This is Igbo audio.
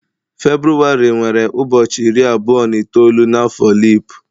Febrụwarị nwere ụbọchị iri abụọ na itoolu n'afo leap.